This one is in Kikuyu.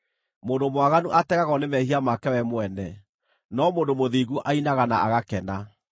Mũndũ mwaganu ategagwo nĩ mehia make we mwene, no mũndũ mũthingu ainaga na agakena.